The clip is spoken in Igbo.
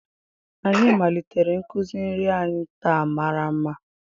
Anyị malitere nkuzi nri anyị taa ma mara mma